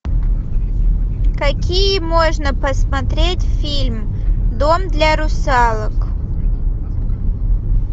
какие можно посмотреть фильм дом для русалок